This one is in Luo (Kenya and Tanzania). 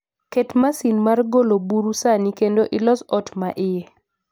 Ket masin mar golo buru sani kendo ilos ot ma iye